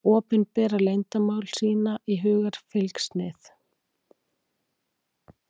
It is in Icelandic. Opinbera leyndarmál, sýna í hugarfylgsnið.